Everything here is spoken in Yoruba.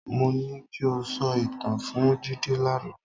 Mo ní ki o sọ ìtàn fún Jídé lánàá.